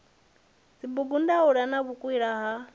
dzibugu ndaula na vhukwila ha